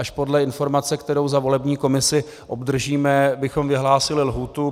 Až podle informace, kterou za volební komisi obdržíme, bychom vyhlásili lhůtu.